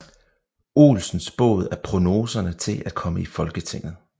Olsen spået af prognoserne til at komme i Folketinget